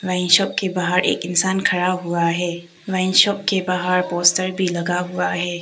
Wine shop के बाहर एक इंसान खडा हुआ है। वाइन शॉप के बाहर पोस्टर भी लगा हुआ है।